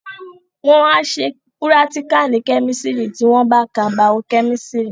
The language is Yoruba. Wọ́n á ṣe púrátíkà ní kẹ́mísítírì tí wọ́n bá ka Bao-kẹ́mísítírì